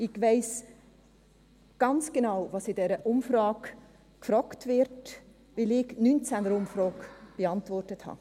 Ich weiss ganz genau, was in dieser Umfrage gefragt wird, weil ich die 2019er-Umfrage beantwortet habe.